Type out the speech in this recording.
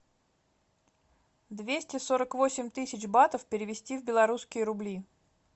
двести сорок восемь тысяч батов перевести в белорусские рубли